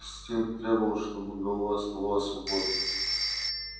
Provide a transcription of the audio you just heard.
инстинкт требовал чтобы голова оставалась свободной